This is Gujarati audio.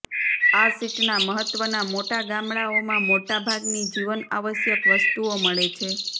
આ સીટના મહત્વના મોટા ગામડાઓમાં મોટાભાગની જીવન આવશ્યક વસ્તુઓ મળે છે